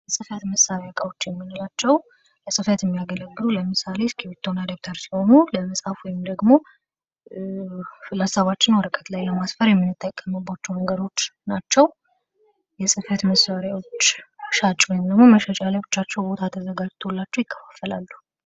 የፅህፈት መሳሪያ እቃዎች የምንላቸው ለፅህፈት የሚያገለግሉ ለምሳሌ እስክርቢቶ እና ደብተር ሲሆኑ ለመፃፍ ወይንም ደግሞ ሀሳባችንን ወረቀት ላይ ለማስፈር የምንጠቀማቸው ነገሮች ናቸው። የፅህፈት መሳሪያዎች ሻጭ ወይንም ደግሞ መሸጫ ለብቻቸው ተዘጋጅቶላቸው ይከፋፈላሉ።